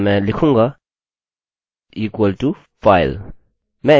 और मैं लिखूँगा equal to file